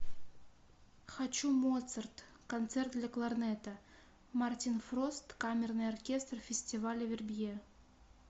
хочу моцарт концерт для кларнета мартин фрост камерный оркестр фестиваля вербье